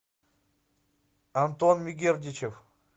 антон мегердичев